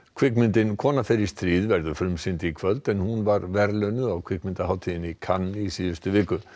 kvikmyndin kona fer í stríð verður frumsýnd í kvöld en hún var verðlaunuð á kvikmyndahátíðinni í Cannes í síðustu viku